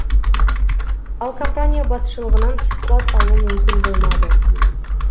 ал компания басшылығынан сұхбат алу мүмкін болмады